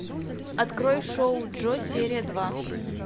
открой шоу джо серия два